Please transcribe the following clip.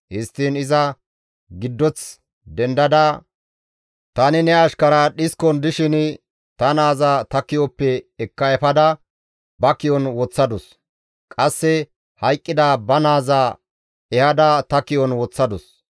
Histtiin iza giddoth dendada tani ne ashkariya dhiskon dishin ta naaza ta ki7oppe ekka efada ba ki7on woththadus; qasse hayqqida ba naaza ehada ta ki7on woththadus.